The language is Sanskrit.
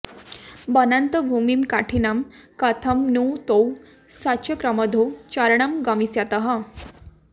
वनान्तभूमिं कठिनां कथं नु तौ सचक्रमध्यौ चरणौ गमिष्यतः